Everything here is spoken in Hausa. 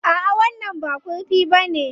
A'a, wannan ba kurfi bane.